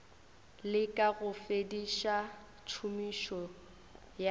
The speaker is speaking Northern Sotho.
leka go fediša tšhomišo ya